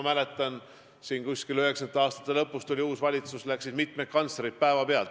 Kuskil 1990. aastate lõpus astus ametisse uus valitsus ja mitu kantslerit läks päevapealt.